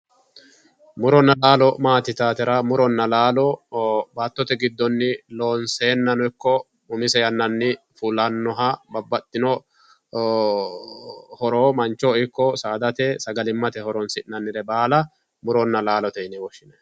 Muronna laalo maati yitaatera, muronna laalo baattote giddonni loonseennano ikko umise yannanni fuannoha babbaxino horo manchoho ikko saadate sagalimmate horonsi'annire baala muronna laalote yine woshshinanni.